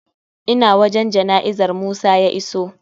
Ina wajan jana'izar musa ya iso